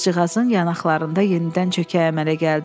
qızcığazın yanaqlarında yenidən çökək əmələ gəldi.